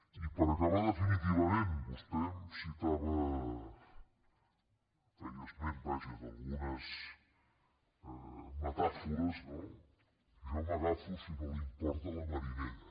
i per acabar definitivament vostè em citava em feia esment vaja d’algunes metàfores jo m’agafo si no li importa a la marinera